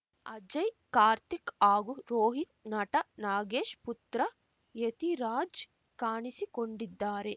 ಅಜಯ್ ಕಾರ್ತಿಕ್ ಹಾಗೂ ರೋಹಿತ್ ನಟ ನಾಗೇಶ್ ಪುತ್ರ ಯತಿರಾಜ್ ಕಾಣಿಸಿಕೊಂಡಿದ್ದಾರೆ